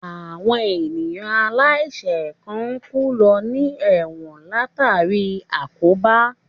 Àwọn èèyàn aláìsẹ̀ kan ń kú lọ ní ẹ̀wọ̀n látàríi àkóbá